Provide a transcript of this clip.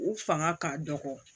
U fanga ka dɔgɔ